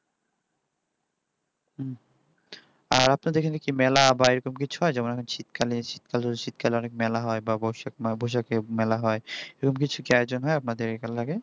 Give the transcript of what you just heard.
আর আপনাদের এখানে কি মেলা বা এরকম কিছু হয় যেমন শীতকালে অনেক মেলা হয় বা বৈশাখে মেলা হয় এররম কিছু কি আয়োজন হয় লগে